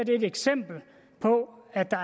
er et eksempel på at der